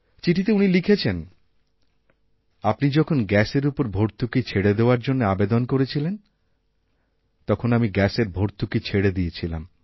চিঠিতে উনি লিখেছেন আপনি যখন গ্যাসের ওপর ভর্তুকিছেড়ে দেওয়ার জন্য আবেদন করেছিলেন তখন আমি গ্যাসের ভর্তুকি ছেড়ে দিয়েছিলাম